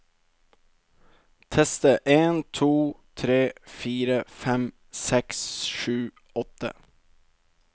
Tester en to tre fire fem seks sju åtte